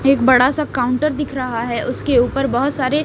एक बड़ासा काउंटर दिख रहा है उसके ऊपर बहोत सारे--